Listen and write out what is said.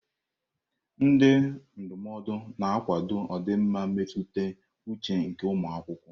Ndị ndụmọdụ na-akwado ọdịmma mmetụta uche nke ụmụ akwụkwọ.